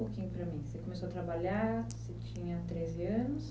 um pouquinho para mim. Você começou a trabalhar, você tinha treze anos?